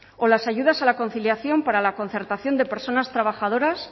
o las ayudas a la conciliación para la concertación de personas trabajadoras